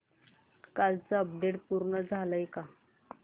कालचं अपडेट पूर्ण झालंय का